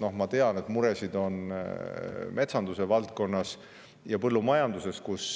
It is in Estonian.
Noh, ma tean, et muresid on metsanduse valdkonnas ja põllumajanduses, kus